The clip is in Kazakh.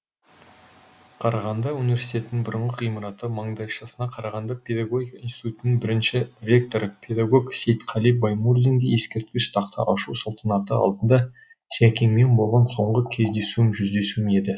қарағанды университетінің бұрынғы ғимараты маңдайшасына қарағанды педагогика институтының бірінші ректоры педагог сейтқали баймурзинге ескерткіш тақта ашу салтанаты алдында жәкеңмен болған соңғы кездесуім жүздесуім еді